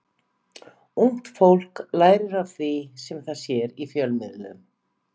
Ungt fólk lærir af því sem það sér í fjölmiðlum.